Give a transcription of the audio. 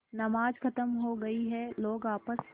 नमाज खत्म हो गई है लोग आपस